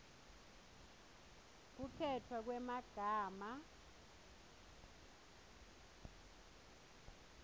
kukhetfwa kwemagama